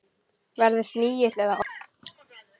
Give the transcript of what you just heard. Verði snigill eða ormur.